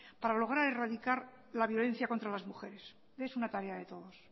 para logra erradicar la violencia contra las mujeres es una tarea de todos